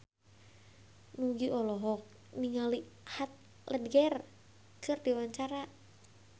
Nugie olohok ningali Heath Ledger keur diwawancara